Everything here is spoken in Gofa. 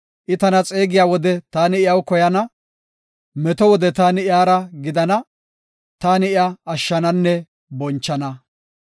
I tana xeegiya wode taani iyaw koyana; meto wode taani iyara gidana; taani iya ashshananne bonchana.